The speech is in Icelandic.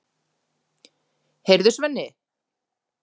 Heyrðu, Svenni.